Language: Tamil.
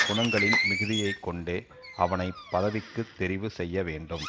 குணங்களின் மிகுதியை கொண்டே அவனை பதவிக்கு தெரிவு செய்ய வேண்டும்